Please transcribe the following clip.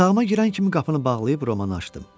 Otağıma girən kimi qapını bağlayıb romanı açdım.